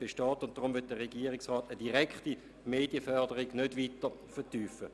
Deshalb will der Regierungsrat eine direkte Medienforderung nicht weiter vertiefen.